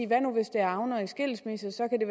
hvad nu hvis de havner i skilsmisse så kan det